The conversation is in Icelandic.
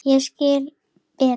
Ég skildi Betu.